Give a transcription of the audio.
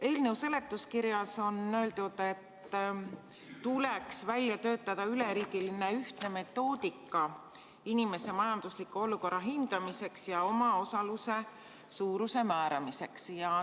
Eelnõu seletuskirjas on öeldud, et tuleks välja töötada üleriigiline ühtne metoodika inimeste majandusliku olukorra hindamiseks ja omaosaluse suuruse määramiseks.